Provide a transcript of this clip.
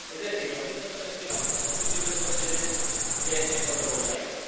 Es decir, lo mismo investigamos hoy en combustibles fósiles que en fotovoltaica.